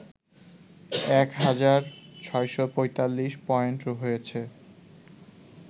এক হাজার৬৪৫ পয়েন্ট হয়েছে